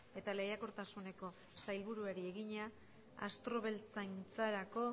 eta lehiakortasuneko sailburuari egina abeltzaintzarako